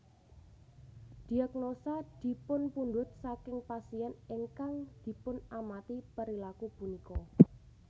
Diagnosa dipunpundut saking pasien ingkang dipunamati perilaku punika